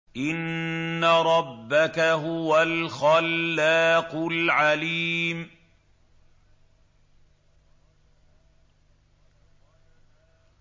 إِنَّ رَبَّكَ هُوَ الْخَلَّاقُ الْعَلِيمُ